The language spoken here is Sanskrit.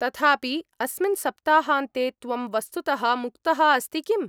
तथापि, अस्मिन् सप्ताहान्ते त्वं वस्तुतः मुक्तः अस्ति किम्?